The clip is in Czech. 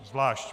Zvlášť.